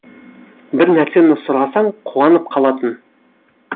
бір нәрсені сұрасаң қуанып қалатын